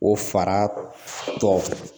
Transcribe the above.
O fara tɔ